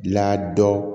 La dɔ